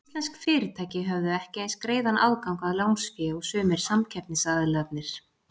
Íslensk fyrirtæki höfðu ekki eins greiðan aðgang að lánsfé og sumir samkeppnisaðilarnir.